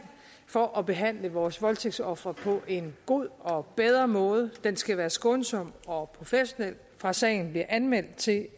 for at behandle vores voldtægtsofre på en god og bedre måde den skal være skånsom og professionel fra sagen bliver anmeldt til